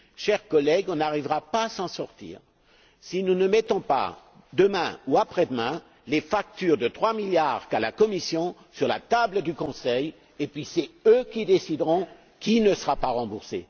Chers collègues, nous n'arriverons pas à nous en sortir si nous ne mettons pas, demain ou après demain, les factures de trois milliards qu'a la Commission sur la table du Conseil, et puis ce seront eux qui décideront qui ne sera pas remboursé.